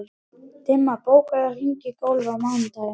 Dimma, bókaðu hring í golf á mánudaginn.